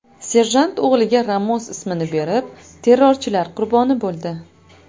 Serjant o‘g‘liga Ramos ismini berib, terrorchilar qurboni bo‘ldi.